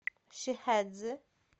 шихэцзы